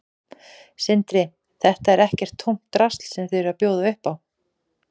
Sindri: Þetta er ekkert tómt drasl sem þið eruð að bjóða upp á?